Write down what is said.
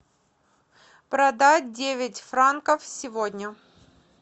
продать девять франков сегодня